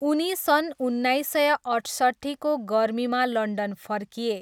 उनी सन् उन्नाइस सय अठसट्ठीको गर्मीमा लन्डन फर्किए।